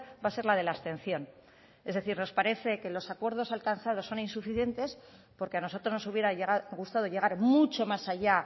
va a ser la de la abstención es decir nos parece que los acuerdos alcanzados son insuficientes porque a nosotros nos hubiera gustado llegar mucho más allá